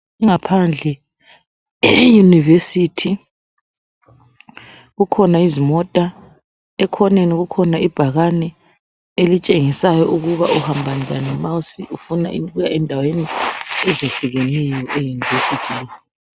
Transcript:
Ingaphandle eyunivesithi kukhona izimota, ekhoneni kukhona ibhakani elitshengisa ukuba uhamba njani ma ufuna uya endaweni ezehlukeneyo eyunivethu.